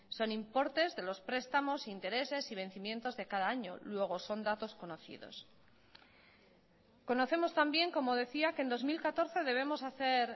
son importes de los prestamos intereses y vencimientos de cada año luego son datos conocidos conocemos también como decía que en dos mil catorce debemos hacer